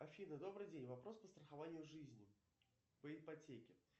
афина добрый день вопрос по страхованию жизни по ипотеке